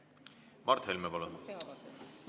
Mart Helme, palun!